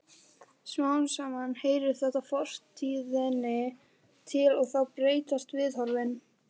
Smám saman heyrir þetta fortíðinni til og þá breytast viðhorfin.